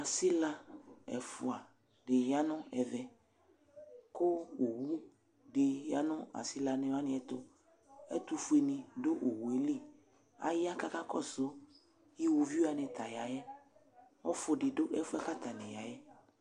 Asɩla ɛfuadɩ yanʋ ɛvɛ kʋ owudiɩ yanʋ asɩlawanɩ ɛtʋ Ɛtʋfuenɩ dʋ owu yɛ li Aya k'aka kɔsʋ iwoviu wanɩ ta yayɛ Ɔfʋdɩ dʋ ɛfʋ yɛ bua k'atanɩ yayɛ